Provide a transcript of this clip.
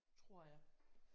Tror jeg